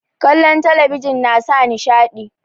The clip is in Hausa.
kallon talabijin nasa nishaɗi